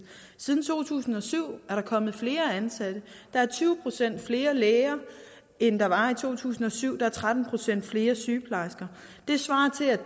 siden to tusind og syv er der kommet flere ansatte der er tyve procent flere læger end der var i to tusind og syv og der er tretten procent flere sygeplejersker det svarer til at